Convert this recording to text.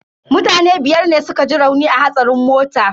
Mutane biyar ne suka ji rauni a hatsarin motan.